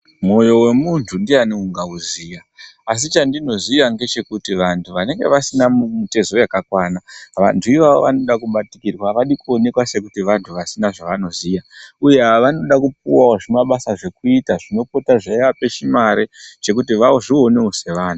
Moyo wemuntu ndiyani ungawuziya, asi chandinoziya ndechekuti vantu vanenge vasina mutezu yakakwana, ndivo vanode kubatikirwa, vanokone kuwonekwa kuti vantu vasina zvavanoziya, uya , vanoda kupiwa zvimabasa zvokuita zvinopota zveyivape chimare chekuti vazvionewo sevanhu.